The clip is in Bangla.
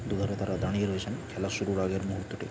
দুয়ারে তারা দাঁড়িয়ে রয়েছেন খেলা শুরুর আগের মুহূর্ততে ।